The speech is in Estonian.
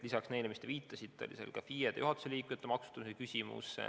Lisaks sellele, millele te viitasite, oli seal ka FIE-de ja juhatuse liikmete maksustamise küsimus.